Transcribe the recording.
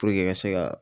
ka se ka